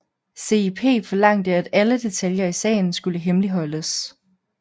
CIP forlangte at alle detaljer i sagen skulle hemmeligholdes